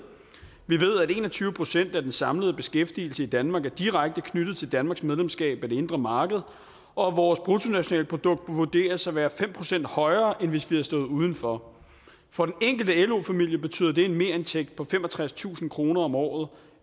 vi ved at en og tyve procent af den samlede beskæftigelse i danmark er direkte knyttet til danmarks medlemskab af det indre marked og vores bruttonationalprodukt vurderes at være fem procent højere end hvis vi havde stået uden for for den enkelte lo familie betyder det en merindtægt på femogtredstusind kroner om året